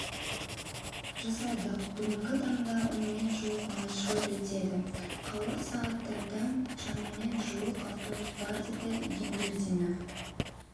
жасадық бүгінгі таңда онымен жуық маршрут өтеді қауырт сағаттарда шамамен жуық автобус бар деді игененбердинов